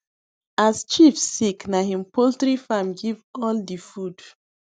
as chief sick na him poultry farm give all the food